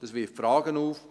Das wirft Fragen auf.